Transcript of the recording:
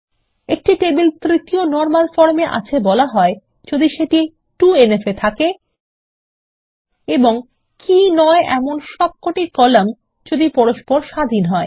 একটি টেবিল তৃতীয় normal form -এ আছে বলা হয় যদি সেটি 2এনএফ -এ থাকে এবং কী নয় এমন সবকটি কলাম যদি পরস্পর স্বাধীন হয়